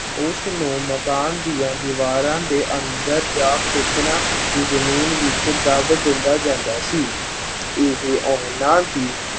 ਉਸ ਨੂੰ ਮਕਾਨ ਦੀਆਂ ਦੀਵਾਰਾਂ ਦੇ ਅੰਦਰ ਜਾਂ ਖੇਤਾਂ ਦੀ ਜ਼ਮੀਨ ਵਿੱਚ ਦੱਬ ਦਿੱਤਾ ਜਾਂਦਾ ਸੀ। ਇਹ ਉਹਨਾਂ ਦੀ